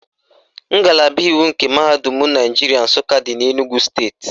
Ngalaba iwu nke Mahadum Naijiria Nsụka dị n'Enugwu steeti